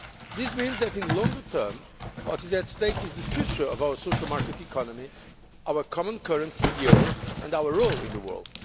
This means that in the longer term what is at stake is the future of our social economy, our common currency, the euro, and our role in the world.